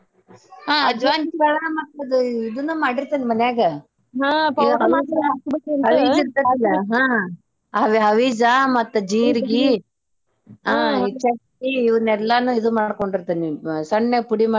ಹಾ ಅಜ್ವಾನ್ ಕಾಳಾ ಮತ್ತ್ ಅದ್ ಇದನ್ನ ಮಾಡಿರ್ತೇನೆ ಮನ್ಯಾಗ ಅದ ಅವಿಜಾ ಮತ್ತ ಜೀರ್ಗಿ ಚಕ್ಕಿ ಇವನೆಲ್ಲಾನು ಈದ್ ಮಾಡ್ಕೊಂಡಿರ್ತೇನೆ ಸಣ್ಣಗ ಪುಡಿ ಮಾಡಿ.